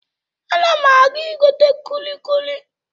Ana m aga igote kulikuli.